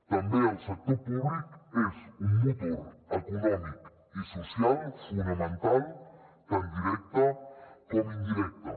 també el sector públic és un motor econòmic i social fonamental tant directe com indirecte